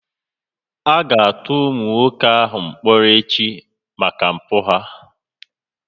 A ga-atụ ụmụ nwoke a mkpọrọ echi maka mpụ ha